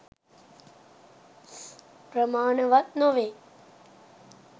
ප්‍රමාණවත් නොවේ.